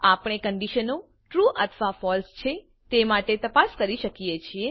આપણે કંડીશનો ટ્રૂ અથવા ફળસે છે તે માટે તપાસ કરી શકીએ છીએ